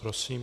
Prosím.